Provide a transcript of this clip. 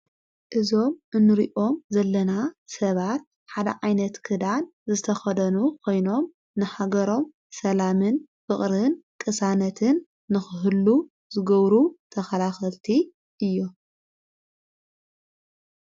እዞም እንርኦም ዘለና ሰባት ሓደ ዓይነት ክዳን ዘተኸደኑ ኾይኖም ንሓገሮም ሰላምን ፍቕርን ቅሳነትን ንኽህሉ ዘገብሩ ተኸላኸልቲ እዮም።